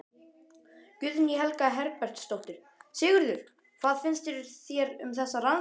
Guðný Helga Herbertsdóttir: Sigurður, hvað finnst þér um þessa rannsókn?